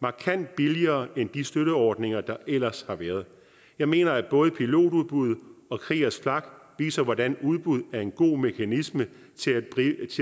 markant billigere end de støtteordninger der ellers har været jeg mener at både pilotudbud og kriegers flak viser hvordan udbud er en god mekanisme til